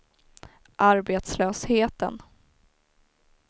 arbetslösheten